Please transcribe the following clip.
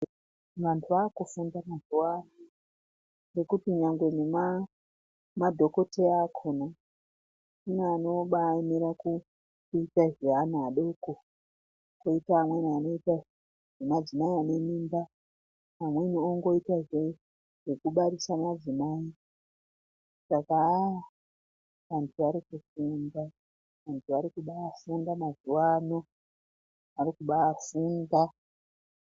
Vantu vakufunda mazuwano ngokuti chero nemadhokodheya akhona kune anoemera kuita zveana adoko kune amweni anoita zvemadzimai ane mimba amweni ongoita zvekubarisa madzimai Saka ahh vantu varikufunda, varikubafunda mazuwano, varikubafunda.